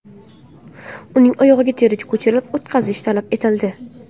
Uning oyog‘iga teri ko‘chirib o‘tkazish talab etildi.